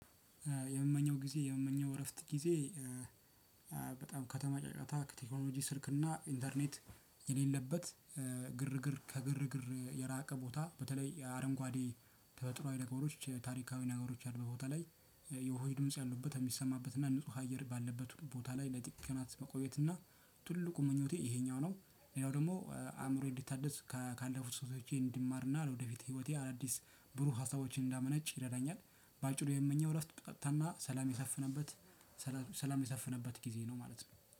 የምመኘው ጊዜ የምመኘው እረፍት ጊዜ በጣም ከተማ ጨጫታ ከቴክኖሎጂ ስልክና ኢንተርኔት የሌለበት ግርግር ከግርግር የራቀ ቦታ በተለይ የአረንጓዴ ተፈጥሯዊ ነገሮች ታሪካዊ ነገሮች አሉ በቦታ ላይ የውሃ ድምጽ ያሉበት የሚሰማበት እና ንጹህ አየር ባለበት ቦታ ላይ ለጥቂት ቀናት መቆየት እና ትልቁ ምኞቴ ይሄኛው ነው። ሌላው ደግሞ አእምሮዬን እንዲታደስ ካ ካለፉት ሰህተቶቼ እንድማርና ለወደፊት ህይወቴ አዳዲስ ብሩህ ሀሳቦችን እንዳመነጭ ይረዳኛል። በአጭሩ የምመኘው እረፍት ጸጥታና ሰላም የሰፈነበት ሰላም የሰፈነበት ጊዜ ነው ማለት ነው።